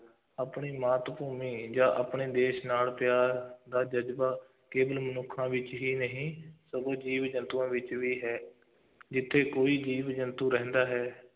ਆਪਣੀ ਮਾਤ ਭੂਮੀ ਜਾਂ ਆਪਣੇ ਦੇਸ਼ ਨਾਲ ਪਿਆਰ ਦਾ ਜ਼ਜ਼ਬਾ ਕੇਵਲ ਮਨੁੱਖਾਂ ਵਿੱਚ ਹੀ ਨਹੀਂ, ਸਗੋ ਜੀਵ-ਜੰਤੂਆਂ ਵਿੱਚ ਵੀ ਹੈ ਜਿੱਥੇ ਕੋਈ ਜੀਵ-ਜੰਤੂ ਰਹਿੰਦਾ ਹੈ,